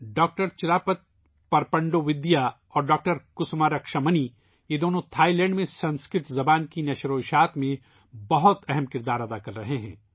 doctor Chirapat Prapandvidya اور doctor Kusuma Raksamani, یہ دونوں تھائی لینڈ میں سنسکرت زبان کے فروغ میں بہت اہم کردار ادا کر رہے ہیں